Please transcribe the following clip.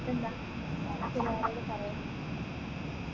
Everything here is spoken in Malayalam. എന്നിട്ടെന്താ നമ്മുക്ക് വേരേലും പറയാ